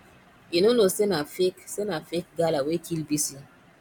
you no know say na fake say na fake gala wey kill bisi